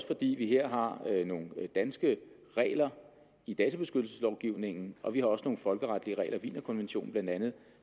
fordi vi her har nogle danske regler i databeskyttelseslovgivningen og vi har også nogle folkeretlige regler wienerkonventionen